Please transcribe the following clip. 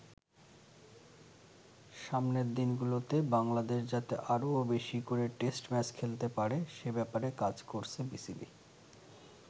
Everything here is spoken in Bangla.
সামনের দিনগুলোতে বাংলাদেশ যাতে আরও বেশি করে টেস্ট ম্যাচ খেলতে পারে সে ব্যাপারে কাজ করছে বিসিবি।